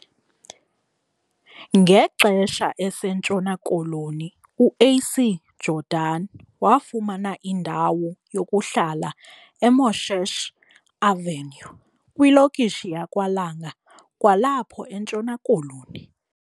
Ngexesha eseNtshona Koloni, UAC Jordan wafumana indawo yokuhlala eMoshesh Avenue kwilokishi yakwaLanga kwalapho eNtshona Koloni.